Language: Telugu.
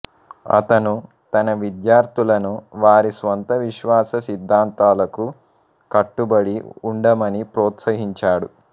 అతను తన విద్యార్థులను వారి స్వంత విశ్వాస సిద్ధాంతాలకు కట్టుబడి ఉండమని ప్రోత్సహించాడు